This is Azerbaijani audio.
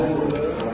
Yox, o nə gəlir.